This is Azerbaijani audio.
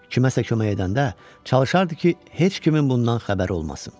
Kiməsə kömək edəndə çalışardı ki, heç kimin bundan xəbəri olmasın.